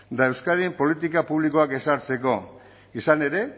da euskadin politika publikoak ezartzeko izan ere